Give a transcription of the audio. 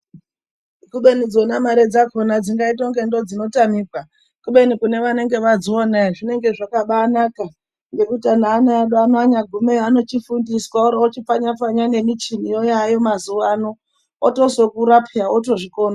Kubeni dzona mare dzakona dzingaita unga ndodzinotamika, kubeni kune vanenge vadziona ere zvinenge zvakabaanaka ngekuti neana edu ana achigumeyo anoochifundiswa ochipfanyapfanya nemichiniyo yaayo mazuwa ano otozokura pheya otozvikona.